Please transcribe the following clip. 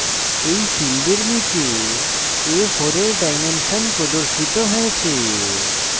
a4 ফীল্ডের নীচে a4 a4 dimension প্রদর্শিত হয়েছে